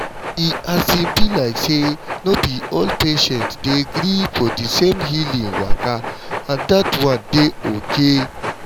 e um be like say no be all patients dey gree for di same healing waka and dat one dey okay.